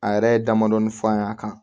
A yɛrɛ ye damadɔni fɔ an ɲ'a kan